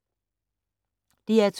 DR2